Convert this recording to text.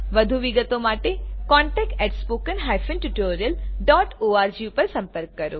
વધુ વિગતો માટે contactspoken tutorialorg પર સંપર્ક કરો